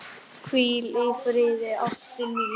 Hvíl í friði ástin mín.